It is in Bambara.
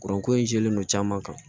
Kuranko in jɛlen don caman kan